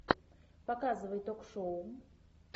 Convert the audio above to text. показывай ток шоу